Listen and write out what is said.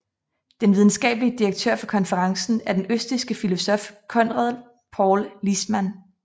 Den videnskabelige direktør for konferencen er den østrigske filosof Konrad Paul Liessmann